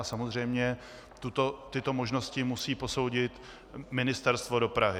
A samozřejmě tyto možnosti musí posoudit Ministerstvo dopravy.